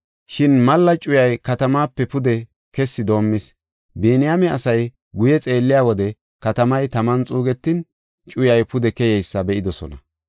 Shin malla cuyay katamaape pude kessi doomis. Biniyaame asay guye xeelliya wode katamay taman xuugetin, cuyay pude keyeysa be7idosona.